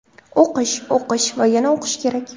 O‘qish, o‘qish va yana o‘qish kerak!